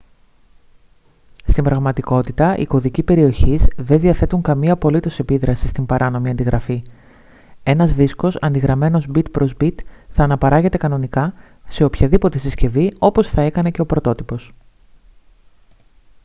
στην πραγματικότητα οι κωδικοί περιοχής δεν διαθέτουν καμία απολύτως επίδραση στην παράνομη αντιγραφή ένας δίσκος αντιγραμμένος bit προς bit θα αναπαράγεται κανονικά σε οποιαδήποτε συσκευή όπως θα έκανε και ο πρωτότυπος